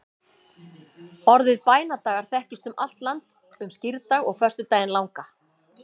Orðið bænadagar þekkist um allt land um skírdag og föstudaginn langa.